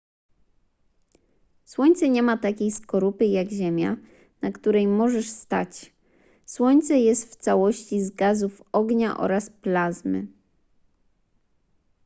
słońce nie ma takiej skorupy jak ziemia na której możesz stać słońce jest w całości z gazów ognia oraz plazmy